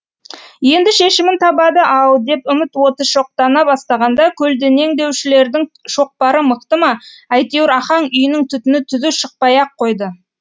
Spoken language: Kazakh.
енді шешімін табады ау деп үміт оты шоқтана бастағанда көлденеңдеушілердің шоқпары мықты ма әйтеуір ахаң үйінің түтіні түзу шықпай ақ қойды